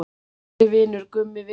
Kæri vinur, Gummi Viggós.